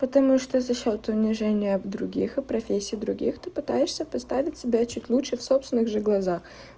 потому что за счёт унижения других и профессий других ты пытаешься поставить себя чуть лучше в собственных же глазах